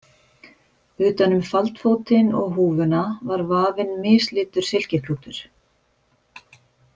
Utan um faldfótinn og húfuna var vafinn mislitur silkiklútur.